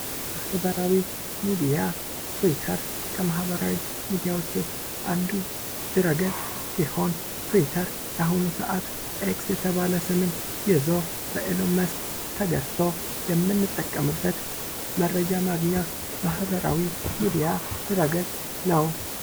ማህበራዊ ሚዲያ ቲዉተር ከማህበራዊ ሚዲያ ዉስጥ አንዱ ድህረ-ገፅ ሲሆን ቲዉተር በአሁኑ ሰዓት "ኤክስ" የተባለ ስምን ይዞ በኤሎን መስክ ተገዝቶ የምንጠቀምበት መረጃ ማግኛ ማህበራዊ ሚዲያ ድህረ-ገፅ ነዉ።